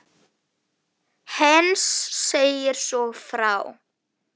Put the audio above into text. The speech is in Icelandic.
Heinz segir svo frá